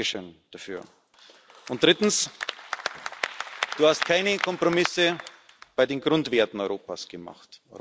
Danke schön dafür. Und drittens Du hast keine Kompromisse bei den Grundwerten Europas gemacht.